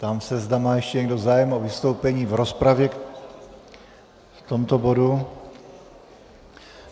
Ptám se, zda má ještě někdo zájem o vystoupení v rozpravě k tomuto bodu.